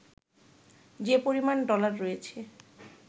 যে পরিমাণ ডলার রয়েছে